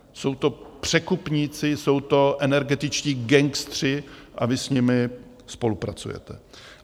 Jsou to překupníci, jsou to energetičtí gangsteři a vy s nimi spolupracujete.